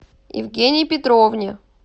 евгении петровне